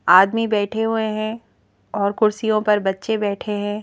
आदमी बैठे हुए हैं और कुर्सियों पर बच्चे बैठे हैं।